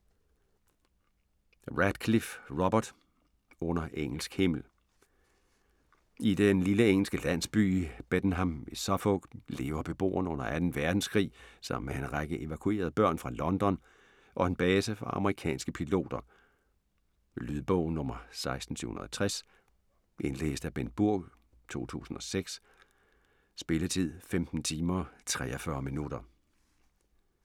Radcliffe, Robert: Under engelsk himmel I den lille engelske landsby Bedenham i Suffolk lever beboerne under 2. verdenskrig sammen med en række evakuerede børn fra London og en base for amerikanske piloter. Lydbog 16780 Indlæst af Bengt Burg, 2006. Spilletid: 15 timer, 43 minutter.